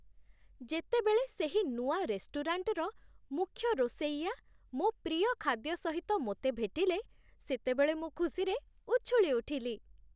ଯେତେବେଳେ ସେହି ନୂଆ ରେଷ୍ଟୁରାଣ୍ଟର ମୁଖ୍ୟ ରୋଷେଇଆ ମୋ ପ୍ରିୟ ଖାଦ୍ୟ ସହିତ ମୋତେ ଭେଟିଲେ, ସେତେବେଳେ ମୁଁ ଖୁସିରେ ଉଛୁଳି ଉଠିଲି।